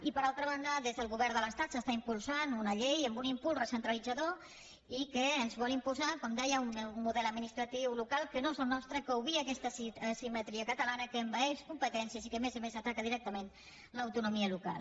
i per altra banda des del govern de l’estat s’està impulsant una llei amb un impuls recentralitzador i que ens vol imposar com deia un model administratiu local que no és el nostre que obvia aquesta asimetria catalana que envaeix competències i que a més a més ataca directament l’autonomia local